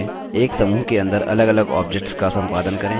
एक समूह के अंदर अलगअलग objects का सम्पादन करें